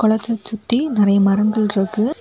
குலத்த சுத்தி நிறைய மரங்கள் இருக்கு.